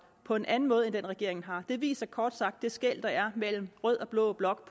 på en anden måde end den regeringen har det viser kort sagt det skel der mellem rød og blå blok